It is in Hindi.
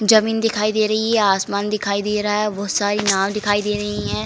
जमीन दिखाई दे रही है। आसमान दिखाई दे रहा है। बोहोत सारी नाव दिखाई दे रही है।